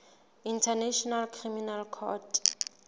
international criminal court